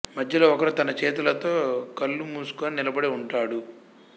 మధ్యలో ఒకరు తన చేతులతో కళ్లు మూసుకొని నిలబడి ఉంటాడు